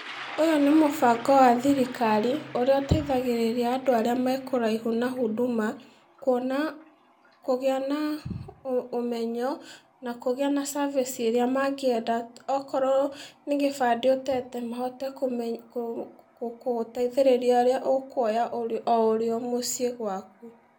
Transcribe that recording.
Ũyũ nĩ mũbango wa thirikari, ũrĩa ũteithagĩrĩria andũ arĩa me kũraihu na huduma, kuona kũgĩa na ũ ũmenyo, na kũgĩa na service ĩrĩa mangĩenda, okorwo nĩ gĩbandĩ ũtete mahote kũme kũ kũteithĩrĩria ũrĩa ũkuoya o ũrĩo mũciĩ gwaku.